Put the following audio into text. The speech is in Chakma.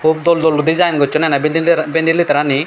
doll doll design gossun eney bhindi bhindi later rani.